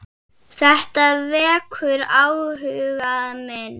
Þetta vekur áhuga minn.